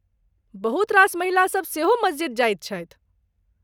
बहुत रास महिलासभ सेहो मस्जिद जाइत छथि।